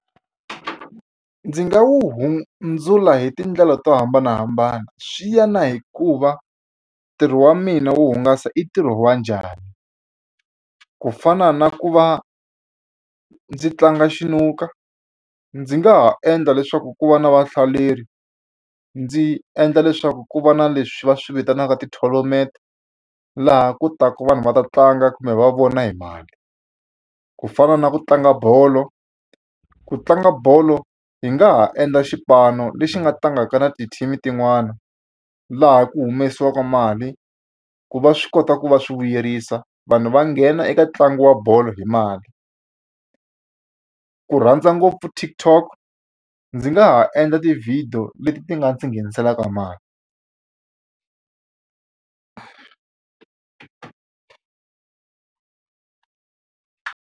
Ndzi nga wu hundzula hi tindlela to hambanahambana swi ya na hikuva ntirho wa mina wo hungasa i ntirho wa njhani ku fana na ku va ndzi tlanga xinuka ndzi nga ha endla leswaku ku va na vahlaleri ndzi endla leswaku ku va na leswi va swi vitanaka ti-tournament laha ku taka vanhu va ta tlanga kumbe va vona hi mali ku fana na ku tlanga bolo ku tlanga bolo hi nga ha endla xipano lexi nga tlangaka na ti-team tin'wani laha ku humesiwaku mali ku va swi kota ku va swi vuyerisa vanhu va nghena eka ntlangu wa bolo hi mali ku rhandza ngopfu TikTok ndzi nga ha endla ti-video leti ti nga ndzi ngheniselaka mali.